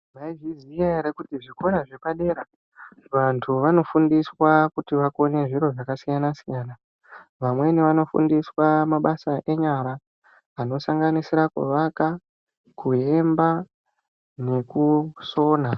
Mwaizviziya ere kuti zvikora zvepadera vantu vanofundiswa kuti vakone zviro zvakasiyana -siyana vamweni vanofundiswa mabasa enyara anosanganisira kuvaka, kuemba nekusona.